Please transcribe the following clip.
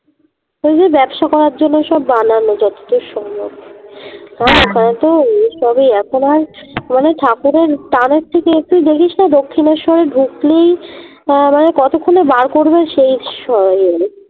ওই যে ব্যবসা করার জন্যে ওই সব বানানো যতদূর সম্ভব এসবই এখন আর মানে ওই ঠাকুরের ত্রানের থেকে একটু দেখিসনা দক্ষিনেশ্বরে ঢুকলেই কতক্ষনে বার করবে সেই